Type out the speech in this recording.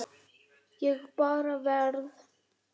Ég bara verð.